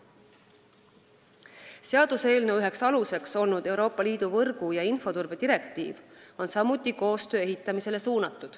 Seaduseelnõu üks alus, Euroopa Liidu võrgu- ja infoturbe direktiiv on samuti suunatud koostöö ehitamisele.